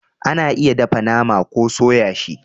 A na iya dafa nama ko soya shi